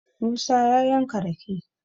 musa ya yanka rake